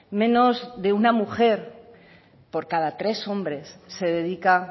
menos de una mujer por cada tres hombres se dedica